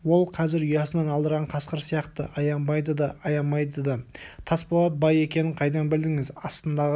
ол қазір ұясын алдырған қасқыр сияқты аянбайды да аямайды да тасболат бай екенін қайдан білдіңіз астындағы